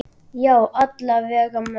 Já, alla vega mest.